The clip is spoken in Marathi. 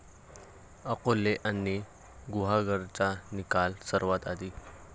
अकोले आणि गुहागरचा निकाल सर्वात आधी?